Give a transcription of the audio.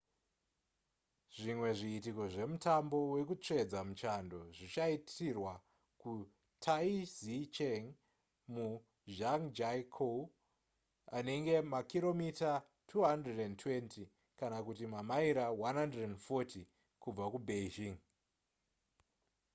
zvimwe zviitiko zvemutambo wekutsvedza muchando zvichaitirwa kutaizicheng muzhangjiakou anenge makiromita 220 kana kuti mamaira 140 kubva kubeijing